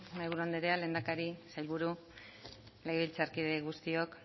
mahaiburu anderea lehendakari sailburu legebiltzarkide guztiok